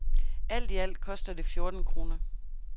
Alt i alt koster det fjorten kroner.